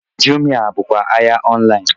Jumia bụkwa ahịa ọnlaịn